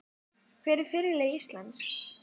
Hver er fyrirliði Íslands?